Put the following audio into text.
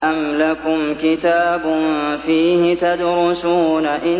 أَمْ لَكُمْ كِتَابٌ فِيهِ تَدْرُسُونَ